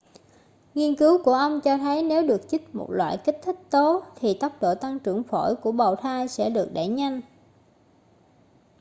nghiên cứu của ông cho thấy nếu được chích một loại kích thích tố thì tốc độ tăng trưởng phổi của bào thai sẽ được đẩy nhanh